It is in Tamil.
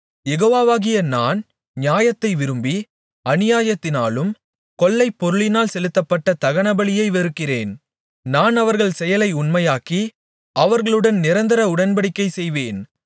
யெகோவாவாகிய நான் நியாயத்தை விரும்பி அநியாயத்தினாலும் கொள்ளைப்பொருளினால் செலுத்தப்பட்ட தகனபலியை வெறுக்கிறேன் நான் அவர்கள் செயலை உண்மையாக்கி அவர்களுடன் நிரந்தர உடன்படிக்கை செய்வேன்